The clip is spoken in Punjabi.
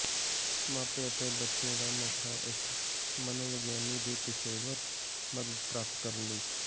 ਮਾਪੇ ਅਤੇ ਬੱਚੇ ਦਾ ਮੌਕਾ ਇੱਕ ਮਨੋਵਿਗਿਆਨੀ ਦੇ ਪੇਸ਼ੇਵਰ ਮਦਦ ਪ੍ਰਾਪਤ ਕਰਨ ਲਈ